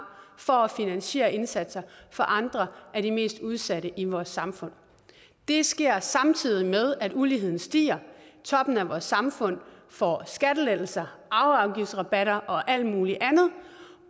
for at finansiere indsatser for andre af de mest udsatte i vores samfund det sker samtidig med at uligheden stiger og toppen af vores samfund får skattelettelser arveafgiftsrabatter og alt muligt andet